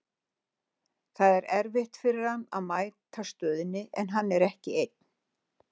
Það er erfitt fyrir hann að mæta stöðunni, en hann er ekki einn.